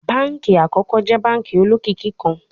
Banki akọkọ jẹ banki olokiki kan